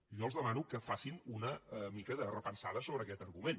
jo els demano que facin una mica de repensada sobre aquest argument